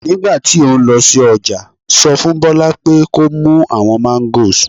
Nígbà tí o ń lọ sí ọjà sọ fún Bola pé kó mú àwọn Mangos